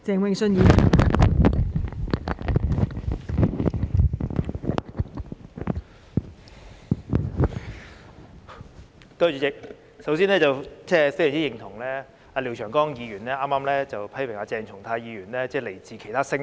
代理主席，首先，我非常認同廖長江議員剛才批評鄭松泰議員時說他來自其他星球。